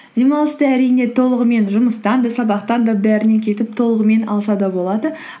демалысты әрине толығымен жұмыстан да сабақтан да бәрінен кетіп толығымен алса да болады